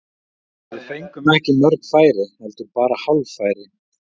Við fengum ekki mörg færi, heldur bara hálffæri.